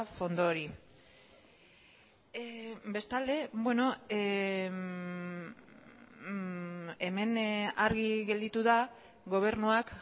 fondo hori bestalde hemen argi gelditu da gobernuak